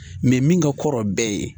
Nin min ka kɔrɔ bɛɛ ye.